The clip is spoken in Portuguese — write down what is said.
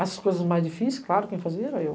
As coisas mais difíceis, claro, quem fazia era eu.